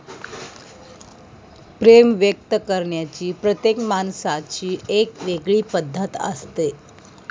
प्रेम व्यक्त करण्याची प्रत्येक माणसाची एक वेगळी पद्धत असते.